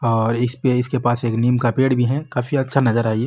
और इसपे इसके पास निम् का पेड़ भी है काफी अच्छा नजारा है ये।